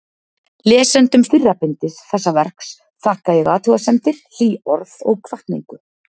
Lesendum fyrra bindis þessa verks þakka ég athugasemdir, hlý orð og hvatningu.